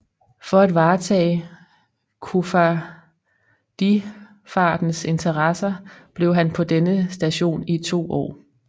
For at varetage koffardifartens interesser blev han på denne station i 2 år